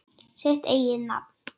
Sitt eigið nafn.